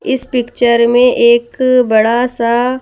इस पिक्चर में एक बड़ा सा--